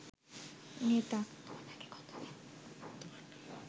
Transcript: নেতা